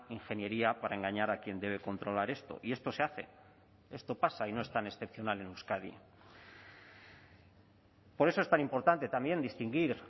ingeniería para engañar a quien debe controlar esto y esto se hace esto pasa y no es tan excepcional en euskadi por eso es tan importante también distinguir